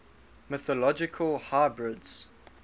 mythological hybrids